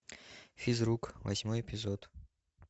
физрук восьмой эпизод